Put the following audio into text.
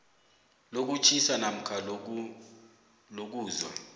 lokutjhisa namkha lokuzwa